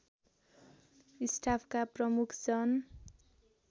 स्टाफका प्रमुख जन